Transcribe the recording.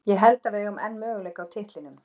Ég held að við eigum enn möguleika á titlinum.